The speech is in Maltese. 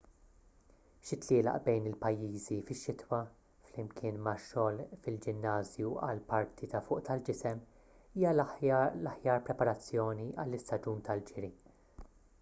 xi tlielaq bejn il-pajjiżi fix-xitwa flimkien ma' xogħol fil-ġinnażju għall-parti ta' fuq tal-ġisem hija l-aħjar preparazzjoni għall-istaġun tal-ġiri